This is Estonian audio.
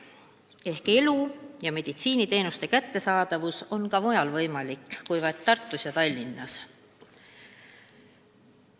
See annab lootust, et elada ja arstiabi saada on ka mujal võimalik, mitte vaid Tartus ja Tallinnas.